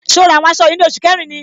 So ra àwọn aṣọ yìí ní oṣù kẹrin ni?